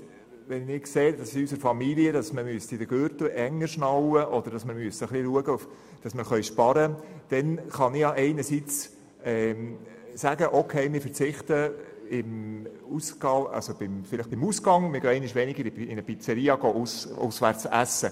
Wenn ich sehen würde, dass man den Gürtel in meiner Familien enger schnallen oder schauen müsste, dass wir ein wenig sparen können, dann kann ich einerseits sagen, dass wir einmal weniger auswärts in einer Pizzeria essen.